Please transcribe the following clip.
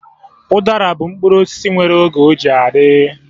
Udara bụ mkpụrụ osisi nwere oge ọ ji adị